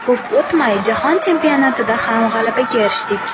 Ko‘p o‘tmay, jahon chempionatida ham g‘alabaga erishdik.